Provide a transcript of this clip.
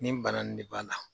Nin bana in de b'a la